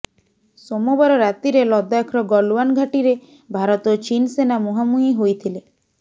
ସୋମବାର ରାତିରେ ଲଦାଖର ଗଲୱାନ ଘାଟିରେ ଭାରତ ଓ ଚୀନ ସେନା ମୁହାଁମୁହିଁ ହୋଇଥିଲେ